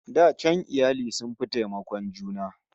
Da can iyali sun fi taimakon juna